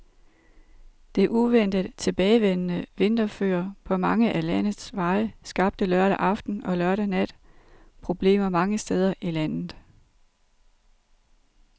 Det uventet tilbagevendte vinterføre på mange af landets veje skabte lørdag aften og lørdag nat problemer mange steder i landet.